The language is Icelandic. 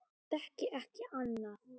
Ég þekki ekki annað.